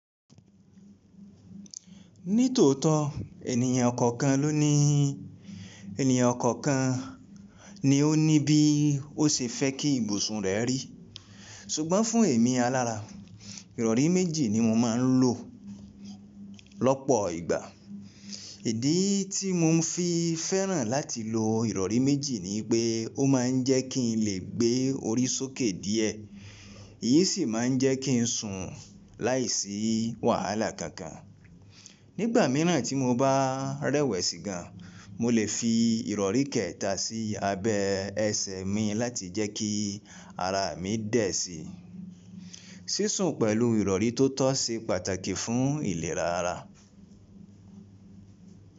Ní tòótọ́ ènìyàn kọ̀ọ̀kan ló ní, ènìyàn kọ̀ọ̀kan ni ó ní bí ó ṣe fẹ́ kí ibùsùn rẹ̀ rí. Ṣùgbọ́n fún èmi alára, ìrọ̀rí méjì ni mo máa ń lò lọ́pọ̀ ìgbà. Ìdí tí mo fi fẹ́ràn láti lò ìrọ̀rí méjì ni yipé ó máa ń jẹ́ kí n lè gbé orí sókè díẹ̀, èyí sì máa ń jẹ́ kí n sùn láìsí wàhálà kankan. Nígbà mìíràn tí mo bá rẹ̀wẹ̀ sìgán, mo lè fi ìrọ̀rí kẹta sí abẹ ẹsẹ̀ mi láti jẹ́ kí ara mi dẹ̀ sí. Sísùn pẹ̀lú ìrọ̀rí tó tọ́ ṣe pàtàkì fún ìlera ara.